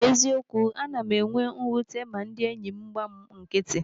N'eziokwu, ana m enwe mwute ma ndị enyị m gba m nkịtị.